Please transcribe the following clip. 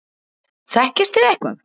Þekkist þið eitthvað?